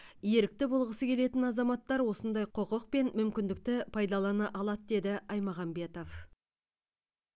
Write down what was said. ерікті болғысы келетін азаматтар осындай құқық пен мүмкіндікті пайдалана алады деді аймағамбетов